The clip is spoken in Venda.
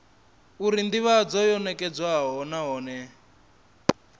uri ndivhadzo yo nekedzwa nahone